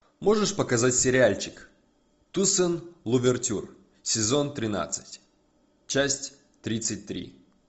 можешь показать сериальчик туссен лувертюр сезон тринадцать часть тридцать три